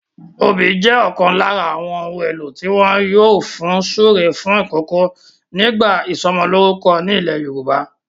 Obì jẹ́ ọ̀kan lára àwọn ohun-èlò tí wọ́n yóò fun súre fún ìkòkò nígbà ìsọmọlórúkọ ni ilẹ̀ Yorùbá.